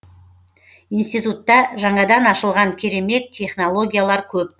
институтта жаңадан ашылған керемет технологиялар көп